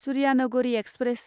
Suryanagari express